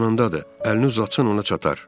yanındadır, əlini uzatsan ona çatar.